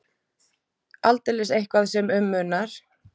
Aldeilis eitthvað sem um munar.